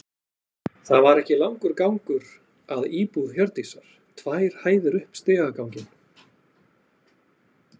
Það var ekki langur gangur að íbúð Hjördísar, tvær hæðir upp stigaganginn.